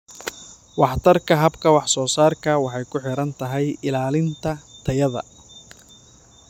Waxtarka habka wax soo saarka waxay ku xiran tahay ilaalinta tayada.